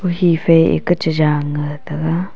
he fai eka cha jan ga taga.